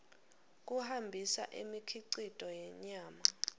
kuhambisa imikhicito yenyama